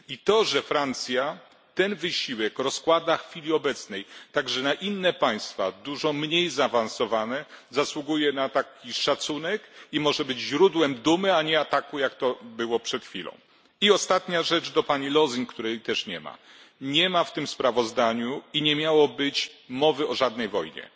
I to, że Francja ten wysiłek rozkłada w chwili obecnej także na inne państwa, dużo mniej zaawansowane, zasługuje na szacunek i może być źródłem dumy, a nie ataku, jak to miało miejsce przed chwilą. I ostatnia rzecz do pani Lösing, której też nie ma nie ma w tym sprawozdaniu i nie miało być mowy o żadnej wojnie,